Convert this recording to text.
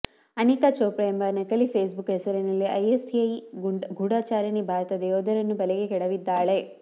ಅನಿಕಾ ಚೋಪ್ರಾ ಎಂಬ ನಕಲಿ ಫೇಸ್ಬುಕ್ ಹೆಸರಿನಲ್ಲಿ ಐಎಸ್ಐ ಗೂಢಚಾರಿಣಿ ಭಾರತದ ಯೋಧರನ್ನು ಬಲೆಗೆ ಕೆಡವಿದ್ದಾಳೆ